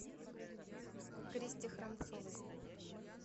кристе храмцовой